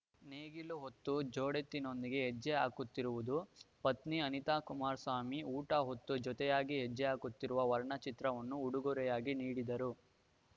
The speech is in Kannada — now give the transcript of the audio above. ನೇಗಿಲು ಹೊತ್ತು ಜೋಡೆತ್ತಿನೊಂದಿಗೆ ಹೆಜ್ಜೆ ಹಾಕುತ್ತಿರುವುದು ಪತ್ನಿ ಅನಿತಾ ಕುಮಾರಸ್ವಾಮಿ ಊಟ ಹೊತ್ತು ಜೊತೆಯಾಗಿ ಹೆಜ್ಜೆಹಾಕುತ್ತಿರುವ ವರ್ಣ ಚಿತ್ರವನ್ನು ಉಡುಗರೆಯಾಗಿ ನೀಡಿದರು